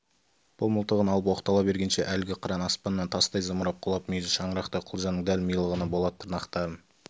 бұл мылтығын алып оқтала бергенше әлгі қыран аспаннан тастай зымырап құлап мүйізі шаңырақтай құлжаның дәл милығына болат тырнақтарын